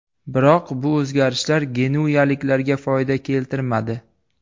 Biroq bu o‘zgarishlar genuyaliklarga foyda keltirmadi.